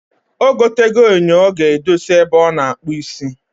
Ogo tego enyo o ga edosi ebe o na akpu isi.